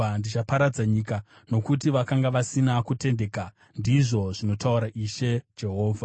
Ndichaparadza nyika nokuti vakanga vasina kutendeka, ndizvo zvinotaura Ishe Jehovha.”